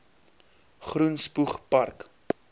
groen spoeg park